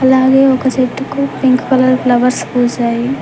అలాగే ఒక చెట్టుకు పింక్ కలర్ ఫ్లవర్స్ పూసాయి.